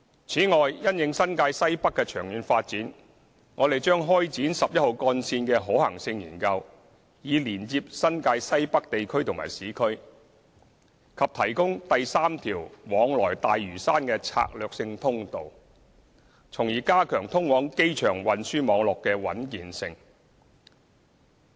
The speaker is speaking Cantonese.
此外，因應新界西北的長遠發展，我們將開展十一號幹線的可行性研究，以連接新界西北地區和市區，以及提供第三條往來大嶼山的策略性通道，從而加強通往機場運輸網絡的穩健性。